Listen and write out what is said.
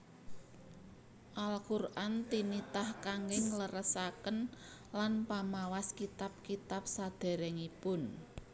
Al Quran tinitah kangge ngleresaken lan pamawas kitab kitab saderengipun